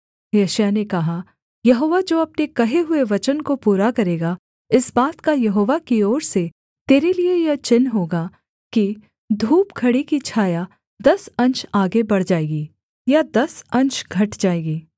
यशायाह ने कहा यहोवा जो अपने कहे हुए वचन को पूरा करेगा इस बात का यहोवा की ओर से तेरे लिये यह चिन्ह होगा कि धूपघड़ी की छाया दस अंश आगे बढ़ जाएगी या दस अंश घट जाएगी